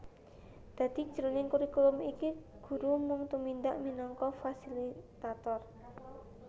Dadi jroning kurikulum iki guru mung tumindak minangka fasilitator